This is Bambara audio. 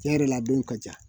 Tiɲɛ yɛrɛ la a don ka ca